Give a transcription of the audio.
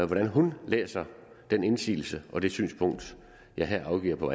hvordan hun læser den indsigelse og det synspunkt jeg her afgiver på